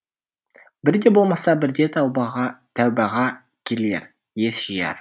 бірде болмаса бірде тәубаға тәубаға келер ес жияр